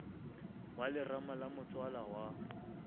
wa lerama la motswala wa